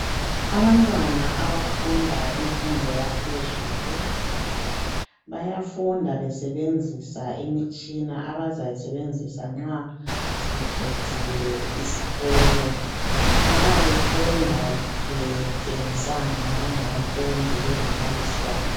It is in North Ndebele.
Abantwana abafunda imfundo yaphezulu bayafunda besebenzisa imitshina bazazayisebenzisa nxa sebeqedile isikolo babefunda betshengisana benabafundi belombalisi wabo.